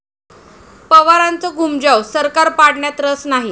पवारांचं घूमजाव, 'सरकार पाडण्यात रस नाही'!